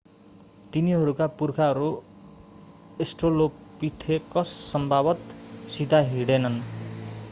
तिनीहरूका पुर्खाहरू अस्ट्रोलोपिथेकस स्वभावतः सिधा हिँडेनन्